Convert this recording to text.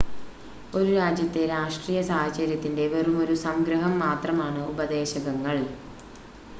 ഒരു രാജ്യത്തെ രാഷ്ട്രീയ സാഹചര്യത്തിൻ്റെ വെറുമൊരു സംഗ്രഹം മാത്രമാണ് ഉപദേശകങ്ങൾ